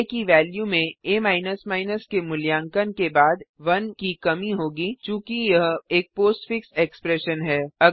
आ की वेल्यू में आ के मूल्यांकन के बाद 1 की कमी होगी चूँकि यह एक पोस्टफिक्स एक्सप्रेशन पोस्टफिक्स एक्सप्रेशन है